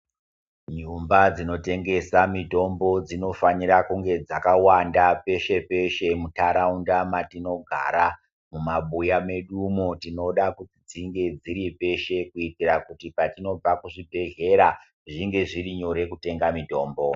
Nyumba dzinotengesa mitombo dzinofanira kunge dzakawanda peshe-peshe muntaraunda matinogara. Mumabuya medu umo tinoda kuti dzinge dziri peshe kuitira kuti patinobva kuzvibhedhlera zvinge zviri nyore kutenda mitombo.